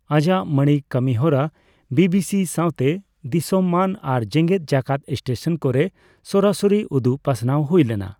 ᱟᱡᱟᱜ ᱢᱟᱬᱤ ᱠᱟᱹᱢᱤᱦᱚᱨᱟ ᱵᱤᱵᱤᱥᱤ ᱥᱟᱣᱛᱮ ᱫᱤᱥᱚᱢᱟᱱ ᱟᱨ ᱡᱮᱜᱮᱫ ᱡᱟᱠᱟᱛ ᱥᱴᱮᱥᱚᱱ ᱠᱚᱨᱮ ᱥᱚᱨᱟᱥᱚᱨᱤ ᱩᱫᱩᱜ ᱯᱟᱥᱱᱟᱣ ᱦᱩᱭ ᱞᱮᱱᱟ ᱾